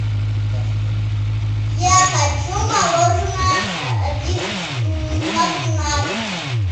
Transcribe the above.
я хочу мороженое один магнат